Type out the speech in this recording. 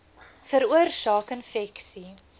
veroorsaak infeksie